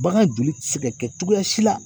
Bagan joli te se ka kɛ cogoya si la